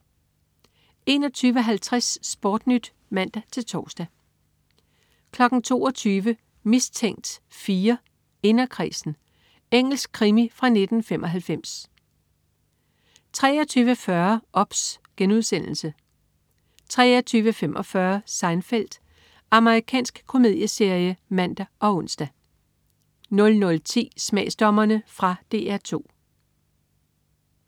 21.50 SportNyt (man-tors) 22.00 Mistænkt 4: Inderkredsen. Engelsk krimi fra 1995 23.40 OBS* 23.45 Seinfeld. Amerikansk komedieserie (man og ons) 00.10 Smagsdommerne. Fra DR 2